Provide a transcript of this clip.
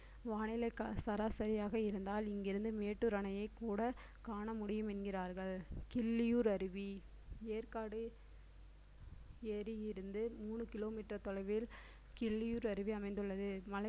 வானிலை சராசரியாக இருந்தால் இங்கிருந்து மேட்டூர் அணையைக் கூட காணமுடியும் என்கிறார்கள் கிள்ளியூர் அருவி ஏற்காடு ஏரியில் இருந்து மூணு kilometer தொலைவில் கிள்ளியூர் அருவி அமைந்துள்ளது மழை